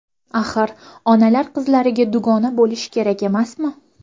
Axir, onalar qizlariga dugona bo‘lishi kerak emasmi?